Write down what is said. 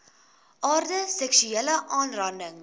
aard seksuele aanranding